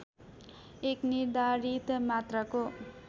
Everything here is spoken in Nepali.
एक निर्धारित मात्राको